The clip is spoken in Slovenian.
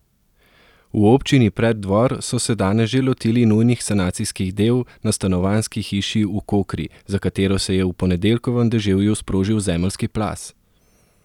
V občini Preddvor so se danes že lotili nujnih sanacijskih del na stanovanjski hiši v Kokri, za katero se je v ponedeljkovem deževju sprožil zemeljski plaz.